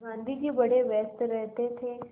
गाँधी जी बड़े व्यस्त रहते थे